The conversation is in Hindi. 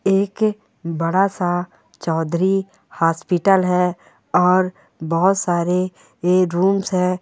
एक बड़ा सा चौधरी हॉस्पिटल है और बहुत सारे रूम्स है।